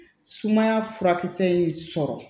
Sumaya furakisɛ in sɔrɔ